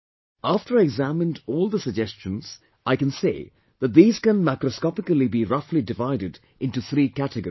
After I examined all the suggestions, I can say that these can macroscopically be roughly divided into three categories